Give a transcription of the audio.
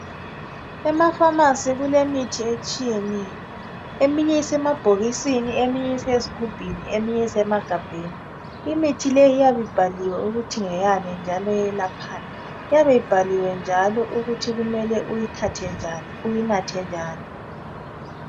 Emafamasi kulemithi etshiyeneyo eminye iyabe isemabhokisini eminye isezigubhini eminye isema gabheni imithi leyi iyabe ibhaliwe ukuthi ngeyani njalo ilaphani lokuthi kumele uyinathwe njani.